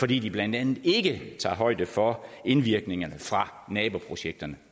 de blandt andet ikke tager højde for indvirkningerne fra naboprojekterne